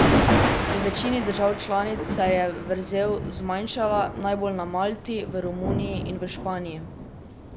V večini držav članic se je vrzel zmanjšala, najbolj na Malti, v Romuniji in v Španiji.